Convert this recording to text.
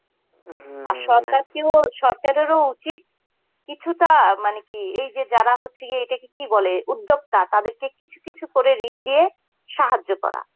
আর সরকার কী বলো সরকারেরও উচিত কিছুটা মানে কি এইযে যারা হচ্ছে গিয়ে এটাকে কি বলে উদ্যোক্তা তাদের কে কিছু কিছু করে ঋণ দিয়ে সাহায্য করা.